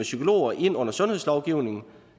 psykologer ind under sundhedslovgivningen